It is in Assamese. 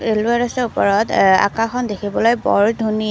ৰেলৱে ৰাস্তাৰ ওপৰত আকাশখন দেখিবলৈ বৰ ধুনীয়া।